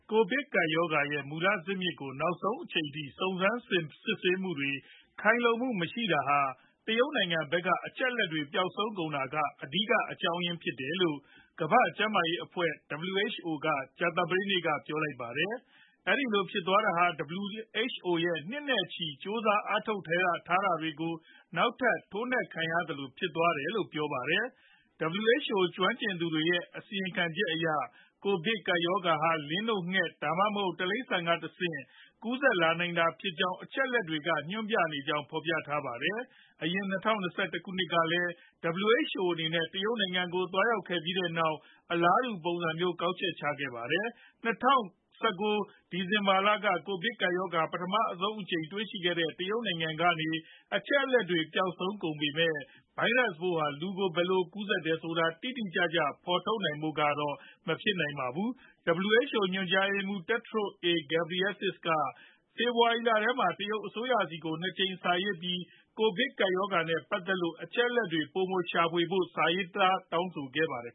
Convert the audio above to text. ကိုဗစ်ကပ်ရောဂါ ရဲ့ မူလဇစ်မြစ်ကို နောက်ဆုံးအနေနဲ့ စုံစမ်းစစ်ဆေးမှုတွေ ခိုင်လုံမှုမရှိနိုင်တာဟာ တရုတ်နိုင်ငံဖက်က အချက်အလက်တွေ ပျောက်ဆုံးကုန်တာက အဓိက အကြောင်းအရာဖြစ်တယ်လို့ ကမ္ဘာ့ကျန်းမာရေးအဖွဲ့ WHO က ကြာသပတေးနေ့က ပြောပါတယ်။ အဲဒီလိုဖြစ်သွားတာဟာ WHO ရဲ့ နှစ်တွေနဲ့ချီ ကြိုးစားအားထုတ်မှုတွေကို နောက်ထပ် ထိုးနှက်ခံရသလို ဖြစ်သွားတယ်လို့လည်း ပြောပါတယ်။ WHO ကျွမ်းကျင်သူတွေရဲ့ အစီခံချက်အရ ကိုဗစ်ကပ်ရောဂါဟာ လင်းနို့ ငှက်တွေ ဒါမှမဟုတ် တိရစ္ဆာန်တွေကနေ တဆင့် ကူးစက်လာနိုင်ဖွယ်ကြောင်း အချက်အလက်တွေက ညွှန်ပြနေကြောင်း ဖော်ပြထားပါတယ်။ အရင် ၂ဝ၂၁ ခုနှစ်ကလည်း WHO အနေနဲ့ တရုတ်ပြည်ကို သွားရောက်ခဲ့ပြီးတဲ့နောက် အလားတူ ပုံစံမျိုး ကောက်ချက်ချခဲ့ပါတယ်။ ၂ဝ၁၉ ဒီဇင်ဘာလက ကိုဗစ်ကပ်ရောဂါ ပထမဦးဆုံးအကြိမ် တွေ့ရှိခဲ့တဲ့ တရုတ်နိုင်ငံကနေ အချက်အလက်တွေ ပျောက်ဆုံးကုန်ပေမယ့် ဗိုင်းရပ်ပိုးဟာ လူကို ဘယ်လိုကူးစက်တယ်ဆိုတာ တိတိကျကျ ဖော်ထုတ်နိုင်ဖို့တော့ မဖြစ်နိုင်ခဲ့ပါဘူး။ WHO ညွှန်ကြားရေးမှူးချုပ် Tedros A Ghebreyesus က ဖေဖော်ဝါရီလထဲမှာ တရုတ်အစိုးရဆီကို ၂ ကြိမ်စာရေးပြီး ကိုဗစ်ကပ်ရောဂါနဲ့ ပတ်သက်လို့ အချက်အလက်တွေ ပိုမိုရှာဖွေဖို့ စာရေးတောင်းဆိုခဲ့ပါတယ်